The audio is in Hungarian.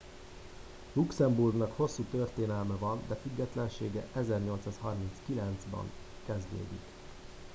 luxemburgnak hosszú történelme van de függetlensége 1839 ban kezdődik